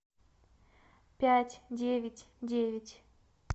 пять девять девять